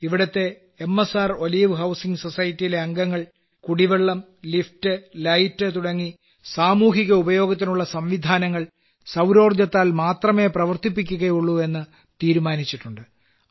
ഇവിടത്തെ M S R olive housing സൊസൈറ്റിയിലെ അംഗങ്ങൾ കുടിവെള്ളം ലിഫ്റ്റ് ലൈറ്റ് തുടങ്ങി സാമൂഹിക ഉപയോഗത്തിനുള്ള സംവിധാനങ്ങൾ സൌരോർജ്ജത്താൽ മാത്രമേ പ്രവർത്തിപ്പിക്കുകയുള്ളൂ എന്ന് തീരുമാനിച്ചിട്ടുണ്ട്